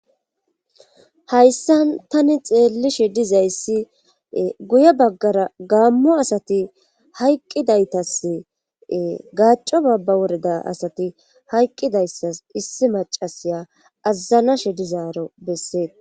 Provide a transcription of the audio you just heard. hayssa tani xeellishe dizayssi guye baggara gaammo asati hayqqidaytas gaaco babba woreda asati hayqqidayssas issi macasiya azazanashe dizaaro besseet